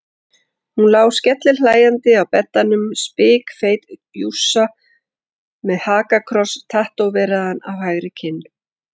Hún lá skellihlæjandi á beddanum, spikfeit jússa með hakakross tattóveraðan á hægri kinn.